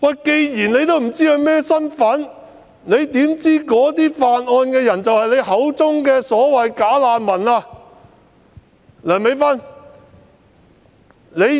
既然她不知道犯案人的身份，又怎知犯案人是她口中所謂的"假難民"呢？